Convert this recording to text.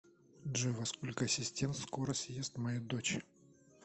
джой во сколько ассистент скоро съест мою дочь